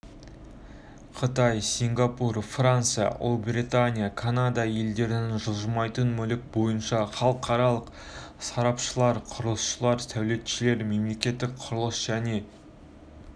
қытай сингапур франция ұлыбритания канада елдерінің жылжымайтын мүлік бойынша халықаралық сарапшылары құрылысшылар сәулетшілер мемлекеттік құрылыс және